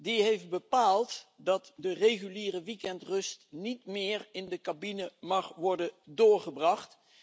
Dat heeft bepaald dat de reguliere weekendrust niet meer in de cabine mag worden doorgebracht.